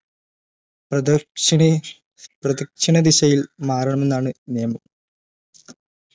പ്രദക്ഷിണേ പ്രദിക്ഷണ ദിശയിൽ മാറണമെന്നാണ് നിയമം